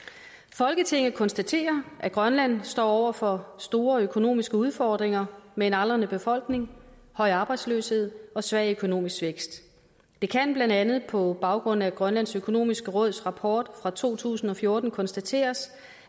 folketinget konstaterer at grønland står over for store økonomiske udfordringer med en aldrende befolkning høj arbejdsløshed og svag økonomisk vækst det kan blandt andet på baggrund af grønlands økonomiske råds rapport fra to tusind og fjorten konstateres